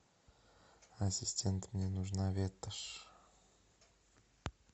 ассистент мне нужна ветошь